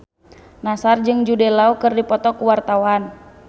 Nassar jeung Jude Law keur dipoto ku wartawan